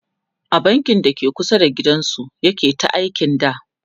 a bankin dake kusa da gidan su yake ta aiki da